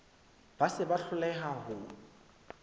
ba se ba hloleha ho